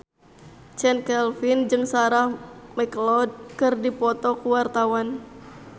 Chand Kelvin jeung Sarah McLeod keur dipoto ku wartawan